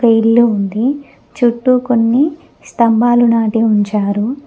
ఇల్లు ఉంది చుట్టూ కొన్ని స్తంబాలు నాటి ఉంచారు.